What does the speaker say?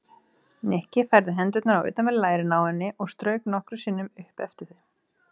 Nikki færði hendurnar á utanverð lærin á henni og strauk nokkrum sinnum upp eftir þeim.